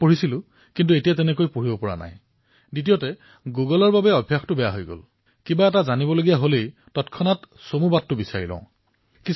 আৰু কিতাপ পঢ়িছিলো কিন্তু এতিয়া পঢ়িবলৈ নাপাও আৰু দ্বিতীয়তে গুগলে অভ্যাস বেয়া কৰিছে কাৰণ কিবা প্ৰসংগ চাবলৈ খুজিলেই তুৰন্তে শ্বৰ্টকাট বিচাৰি লও